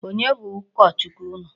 Onye bụ ụkọ Chukwu unu?